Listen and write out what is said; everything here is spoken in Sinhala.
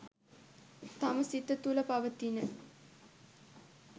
තම සිත තුළ පවතින